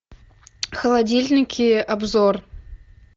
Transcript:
холодильники обзор